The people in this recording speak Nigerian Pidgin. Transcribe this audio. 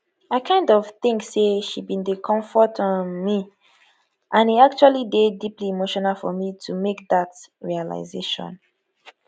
i kind of think say she bin dey comfort um me and e actually dey deeply emotional for me to make dat realisation